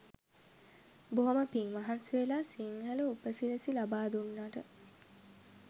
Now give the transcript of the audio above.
බොහොම පිං මහන්සිවෙලා සිංහල උප සිරැසි ලබා දුන්නට.